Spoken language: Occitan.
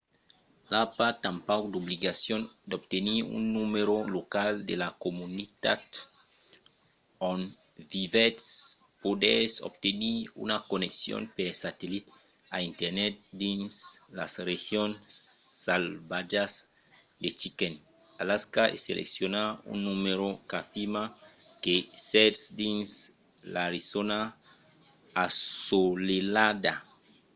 i a pas tanpauc d'obligacion d'obtenir un numèro local de la comunitat on vivètz; podètz obtenir una conneccion per satellit a internet dins las regions salvatjas de chicken alaska e seleccionar un numèro qu'afirma que sètz dins l’arizòna assolelhada